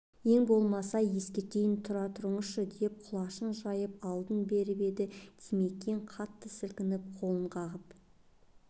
ең болмаса ескертейін тұра тұрыңызшы деп құлашын жайып алдын беріп еді димекең қатты сілкініп қолын қағып